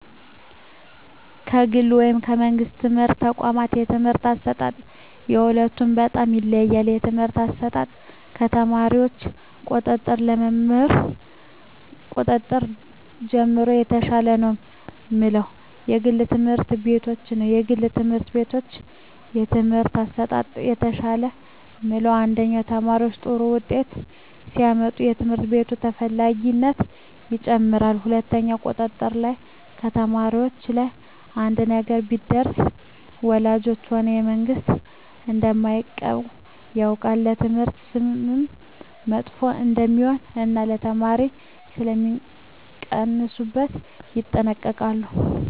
ከግል ወይም ከመንግሥት የትምህርት ተቋዋማት የትምህርት አሰጣጥ የሁለቱ በጣም ይለያያል ከትምህርት አሰጣጥ ከተማሪዎች ቁጥጥር ከመምህር ቁጥጥር ጀምሮ የተሻለ ነው ምለው የግል ትምህርት ቤቶችን ነዉ የግል ትምህርት ቤቶች የትምህርት አሠጣጣቸው የተሻለ ምለው አንደኛ ተማሪዎች ጥሩ ውጤት ሲያመጡ የትምህርት ቤቱ ተፈላጊነት ይጨምራል ሁለትኛው ቁጥጥር ላይ ከተማሪዎች ላይ አንድ ነገር ቢደርስ ወላጆች ሆነ መንግስት እደማይለቀው ያውቃል ለትምህርት ስምም መጥፎ እደሜሆን እና የተማሪዎች ሥለሚቀንሡበት ይጠነቀቃሉ